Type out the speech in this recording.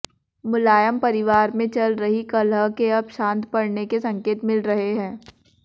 मुलायम परिवार में चल रही कलह के अब शांत पडने के संकेत मिल रहे हैं